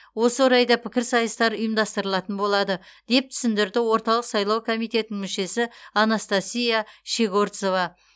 осы орайда пікірсайыстар ұйыстастырылатын болады деп түсіндірді орталық сайлау комитетінің мүшесі анастасия щегорцова